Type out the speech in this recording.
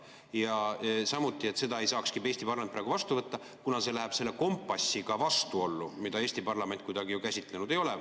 Ja samuti, et seda ei saakski Eesti parlament praegu vastu võtta, kuna see läheb selle kompassiga vastuollu, mida Eesti parlament kuidagi ju käsitlenud ei ole.